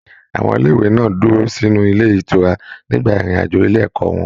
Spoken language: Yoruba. Àwọn ilé ìwé náà dúró sínú ilé ìtura nígbà irin-ajo ile ẹkọ wọn.